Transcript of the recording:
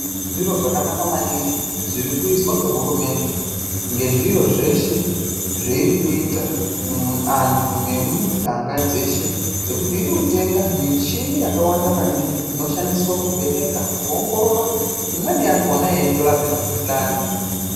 Zviro zvakanaka maningi zviri kuizwa ngehurumende ngezviro zveshe zveiri kuita muantu nemumuganga dzeshe ngekuti iri kutenga michini yakawanda maningi inoshandiswa kuvheneka, kuongorora, imweni yakhona yeitorape mikhuhlani.